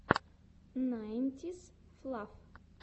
найнтисфлав